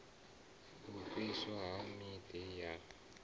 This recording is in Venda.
u fhiswa ha miḓi ya